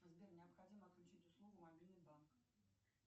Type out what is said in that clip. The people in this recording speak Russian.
сбер необходимо отключить услугу мобильный банк